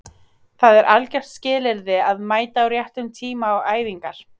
Það er algjört skilyrði að mæta á réttum tíma á æfingar